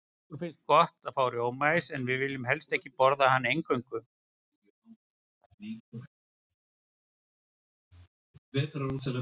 Okkur finnst gott að fá rjómaís, en viljum helst ekki borða hann eingöngu.